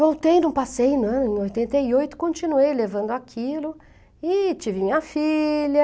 Voltei, não passei, né, em oitenta e oito, continuei levando aquilo e tive uma filha.